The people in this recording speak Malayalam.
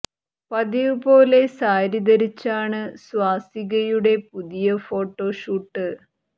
പതിവ് പോലെ സാരി ധരിച്ചാണ് സ്വാസികയുടെ പുതിയ ഫോട്ടോ ഷൂട്ട്